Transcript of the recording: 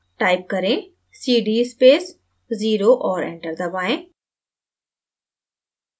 type cd space 0 zero और enter दबाएँ